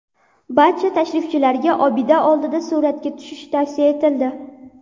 Barcha tashrifchilarga obida oldida suratga tushish tavsiya etildi.